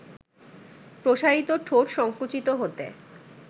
প্রসারিত ঠোঁট সংকুচিত হতে